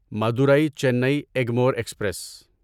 Madurai Chennai Egmore express